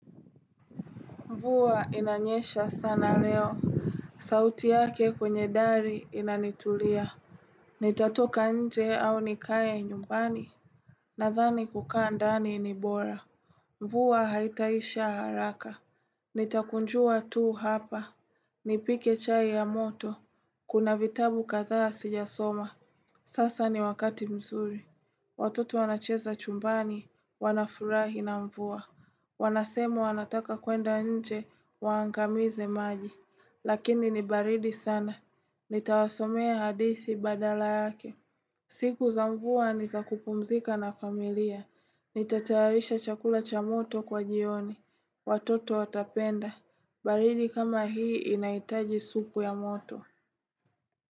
Mvua inanyesha sana leo. Sauti yake kwenye dari inanitulia. Nitatoka nje au nikae nyumbani! Nadhani kukaa ndani ni bora. Mvua haitaisha haraka. Nitakunjua tu hapa. Nipike chai ya moto. Kuna vitabu kadhaa sijasoma. Sasa ni wakati mzuri. Watoto wanacheza chumbani. Wanafurahi na mvua. Wanasema wanataka kwenda nje waangamize maji. Lakini ni baridi sana. Nitawasomea hadithi badala yake. Siku za mvua ni za kupumzika na familia. Nitatayarisha chakula cha moto kwa jioni. Watoto watapenda. Baridi kama hii inahitaji supu ya moto.